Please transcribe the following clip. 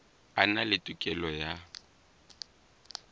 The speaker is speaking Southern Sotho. a na le tokelo ya